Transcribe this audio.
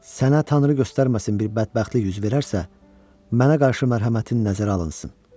Sənə tanrı göstərməsin, bir bədbəxtlik üz verərsə, mənə qarşı mərhəmətin nəzərə alınsın.